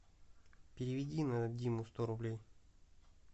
переведи на диму сто рублей